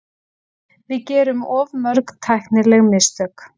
Við gerum of mörg tæknileg mistök.